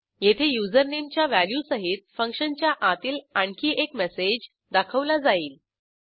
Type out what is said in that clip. येथे usernameच्या व्हॅल्यूसहित फंक्शनच्या आतील आणखी एक मेसेज दाखवला जाईल